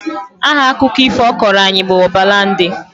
Aha akụkọ ifo ọ kọọrọ anyị bụ Ọbalande